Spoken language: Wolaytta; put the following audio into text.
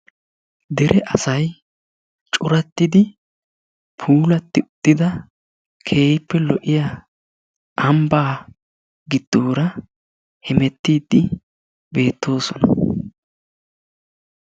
Deree asay corattidi pulatti uttiddaa kehippe lo'iyaa ambaa gidoraa hemettidi betosonna.